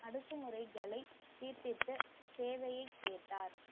அடக்குமுறைகளை தீர்த்தித்த தேவையை கேட்டார்